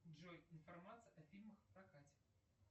джой информация о фильмах в прокате